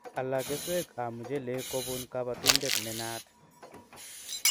Ala keswek ab muchelek kopun kabatindet ne naat